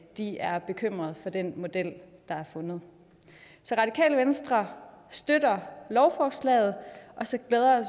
de er bekymret for den model der er fundet så radikale venstre støtter lovforslaget og så glæder